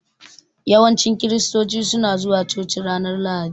Yawanci kiristoci suna zuwa coci ranar Lahadi.